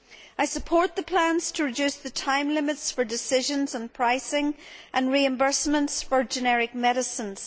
I support the plans to reduce the time limits for decisions on pricing and reimbursements for generic medicines.